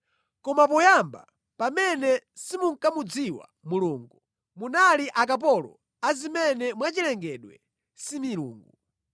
Koma poyamba pamene simunkamudziwa Mulungu, munali akapolo a zimene mwachilengedwe si milungu.